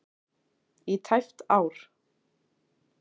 í tæpt ár.